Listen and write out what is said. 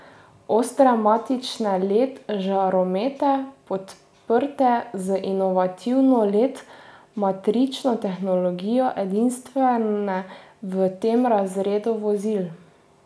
Ostre matrične led žaromete podprte z inovativno led matrično tehnologijo, edinstvene v tem razredu vozil.